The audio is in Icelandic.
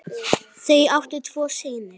Þau áttu tvo syni.